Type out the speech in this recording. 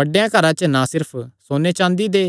बड्डेयां घरां च ना सिर्फ सोन्ने चाँदी दे